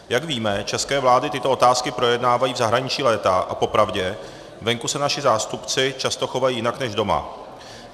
Jak víme, české vlády tyto otázky projednávají v zahraničí léta a popravdě, venku se naši zástupci často chovají jinak než doma.